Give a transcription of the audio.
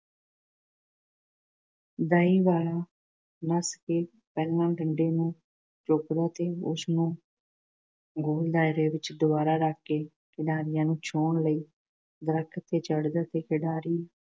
ਦਾਈ ਵਾਲਾ ਨੱਸ ਕੇ ਪਹਿਲਾਂ ਡੰਡੇ ਨੂੰ ਚੁੱਕਦਾ ਤੇ ਉਸ ਨੂੰ ਗੋਲ ਦਾਇਰੇ ਵਿੱਚ ਦੁਬਾਰਾ ਰੱਖ ਕੇ ਖਿਡਾਰੀਆਂ ਨੂੰ ਛੂਹਣ ਲਈ ਦਰਖ਼ਤ ਤੇ ਚੜ੍ਹਦਾ ਤੇ ਖਿਡਾਰੀ